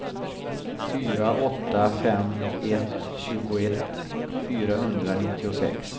fyra åtta fem ett tjugoett fyrahundranittiosex